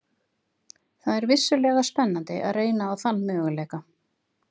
Það er vissulega spennandi að reyna á þann möguleika.